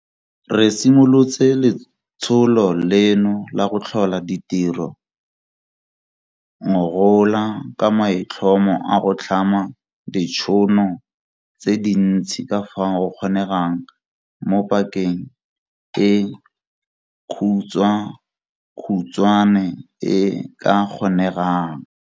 Re simolotse letsholo leno la go tlhola ditiro ngogola ka maitlhomo a go tlhama ditšhono tse dintsi ka fao go kgonegang mo pakeng e khutshwakhutshwane e e ka kgonegang.